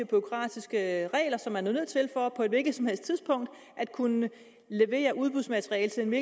bureaukratiske regler som man er nødt til for på et hvilket som helst tidspunkt at kunne levere udbudsmateriale til en